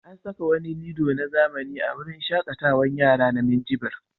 An saka wani lilo na zamani a wurin shaƙarar yara na Minjibir.